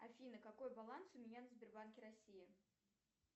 афина какой баланс у меня на сбербанке россия